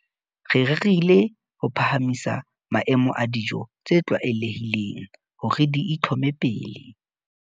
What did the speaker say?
Re rerile ho phahamisa maemo a dijo tse tlwaelehileng hore di itlhome pele.